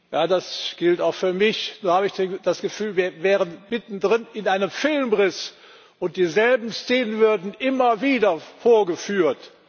Ja, das gilt auch für mich. Nur habe ich das Gefühl, wir wären mitten in einem Filmriss und dieselben Szenen würden immer wieder vorgeführt.